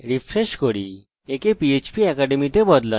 refresh করুন এবং আমরা সফলভাবে জুড়ে গেছি